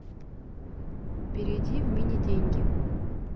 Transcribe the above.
перейди в мини деньги